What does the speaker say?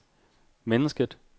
mennesket